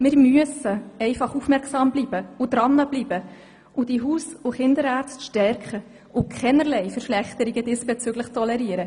Wir müssen aufmerksam bleiben und die Haus- und Kinderärzte stärken und dürfen diesbezüglich keinerlei Verschlechterung tolerieren.